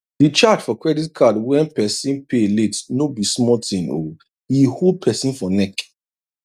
di charge for credit card when persin pay late no be small thing o e hold persin for neck